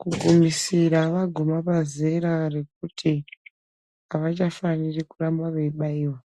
Kugumira vaguma pazera rekuti avachafanirwi kuramba veibairwa.